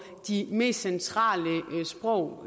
de mest centrale sprog